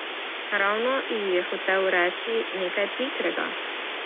Ravno ji je hotel reči nekaj pikrega.